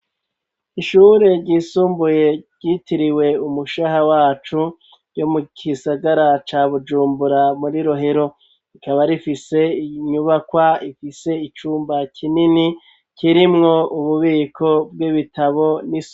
Ishure ryisumbuye ryitiriwe umushaha wacu yo mu kisagara ca bujumbura muri rohero rikaba rifise inyubakwa ifise icumba kinini kirimwo ububiko bw'ibitabo.